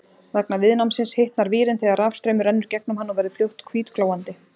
Vegna viðnámsins hitnar vírinn þegar rafstraumur rennur gegnum hann og verður fljótt hvítglóandi.